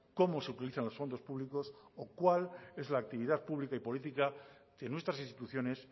cómo se utilizan los fondos públicos cuál es la actividad pública y política de nuestras instituciones